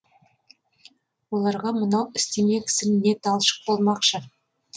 оларға мынау істемек ісің не талшық болмақшы